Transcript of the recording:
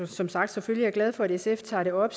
som sagt selvfølgelig er glad for at sf tager det op